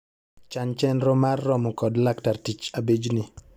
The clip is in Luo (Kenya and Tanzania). Chan chenro mar romo kod laktar tich abijni.